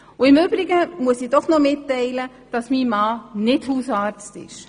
– Und im Übrigen muss ich doch noch mitteilen, dass mein Mann nicht Hausarzt ist.